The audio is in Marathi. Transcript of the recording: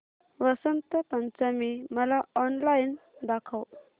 वसंत पंचमी मला ऑनलाइन दाखव